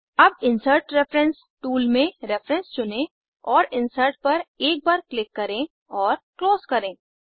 अब insert reference tool में reference चुनें और इंसर्ट पर एक बार क्लिक करें और क्लोज करें